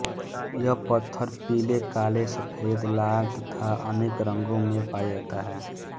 यह पत्थर पीले काले सफेद लाल तथा अनके रंगों में पाया जाता है